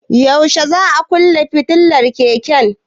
Yaushe za a kunne fitilar keken?